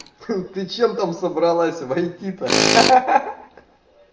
ты чем там собралась войти-то ха ха ха